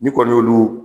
N'i kɔni y'olu